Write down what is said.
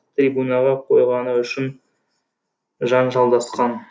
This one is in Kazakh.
трибунаға қойғаны үшін жанжалдасқан